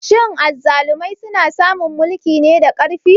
Shin azzalumai suna samun mulki ne da ƙarfi?